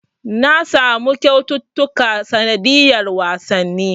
Na samu kyaututtuka sanadiyar wasanni.